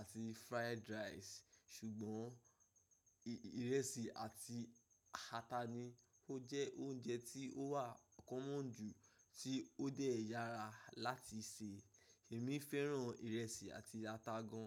àti fried rice. Ṣùgbọ́n ìrẹsì àti ata ni ó jẹ́ oúnjẹ tí ó wà kọ́mọ́ ju, tí ó dẹ̀ yára láti sè. Èmi fẹ́ràn ìrẹsì àti ata gan.